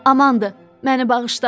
“Amandır, məni bağışla!